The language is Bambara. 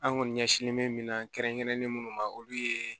An kɔni ɲɛsinnen bɛ min na kɛrɛnkɛrɛnnen munnu ma olu ye